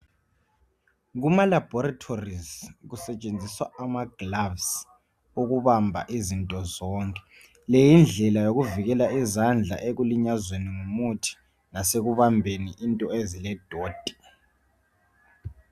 Emalahoratories kusetshenziswa amagloves ukbamba izinto zonke. Le yindlela yokuvikela izandla ekulinyazweni yimithi. Lasekubambeni izinto eziledoti.